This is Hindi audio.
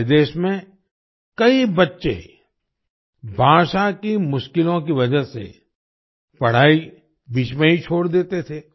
हमारे देश में कई बच्चे भाषा की मुश्किलों की वजह से पढ़ाई बीच में ही छोड़ देते थे